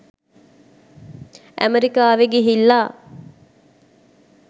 ඇමරිකාවෙ ගිහිල්ලා